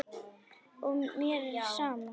Og mér er sama.